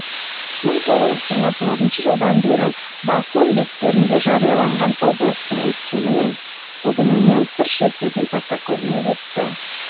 мың тоғыз жүз жиырма тоғызыншы жылдан бері басылым беттерінде жарияланған облыстың өткені мен бүгіненен сыр шертетін фотокөрме өтті